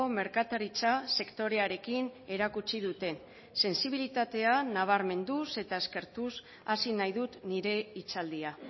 merkataritza sektorearekin erakutsi dute sentsibilitatea nabarmenduz eta eskertuz hasi nahi dut nire hitzaldia